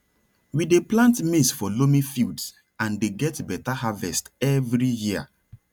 we dey plant maize for loamy fields and dey get better harvest every year